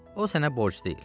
O sənə borc deyil.